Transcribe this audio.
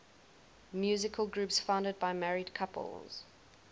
musical groups founded by married couples